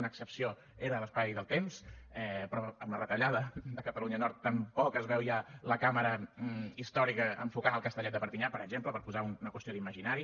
una excepció era l’espai del temps però amb la retallada de catalunya nord tampoc es veu ja la càmera històrica enfocant el castellet de perpinyà per exemple per posar una qüestió d’imaginari